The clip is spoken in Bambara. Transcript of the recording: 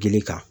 Gili kan